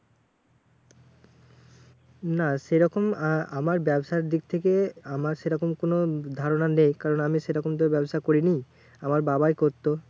না সেরকম আহ আমার ব্যাবসার দিক থেকে আমার সেরকম কোনো ধারণা নেই। কারণ আমি সেরকম তো ব্যাবসা করিনি, আমার বাবাই করতো।